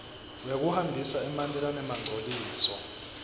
wekuhambisa emanti lanemangcoliso